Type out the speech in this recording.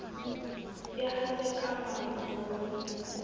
e hate ka maro bo